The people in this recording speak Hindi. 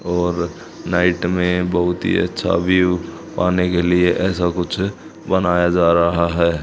और नाइट में बहुत ही अच्छा व्यू पाने के लिए ऐसा कुछ बनाया जा रहा है।